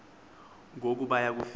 ngoku baya kufika